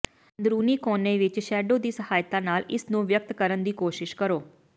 ਅੰਦਰੂਨੀ ਕੋਨੇ ਵਿੱਚ ਸ਼ੈਡੋ ਦੀ ਸਹਾਇਤਾ ਨਾਲ ਇਸ ਨੂੰ ਵਿਅਕਤ ਕਰਨ ਦੀ ਕੋਸ਼ਿਸ਼ ਕਰੋ